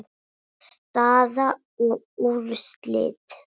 Staða og úrslit